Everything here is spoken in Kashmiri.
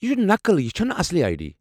یہ چُھ نقل ، یہ چھنہٕ اصلی آیہ ڈی۔